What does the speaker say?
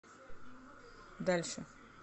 дальше